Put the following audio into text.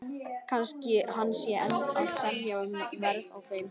Kannski hann sé enn að semja um verð á þeim.